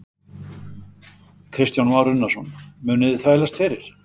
Kristján Már Unnarsson: Munuð þið þvælast fyrir?